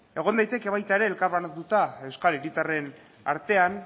egon daiteke baita ere elkarbanatuta euskal hiritarren artean